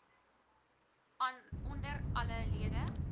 onder alle lede